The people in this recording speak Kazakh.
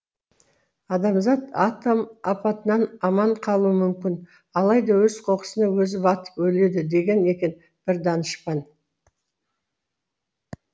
адамзат атом апатынан аман қалуы мүмкін алайда өз қоқысына өзі батып өледі деген екен бір данышпан